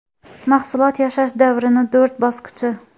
Mahsulot yashash davrining to‘rt bosqichi.